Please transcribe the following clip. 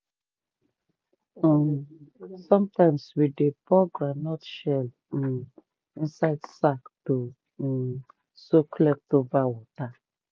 um sometimes we dey pour groundnut shell um inside sack to um soak leftover water.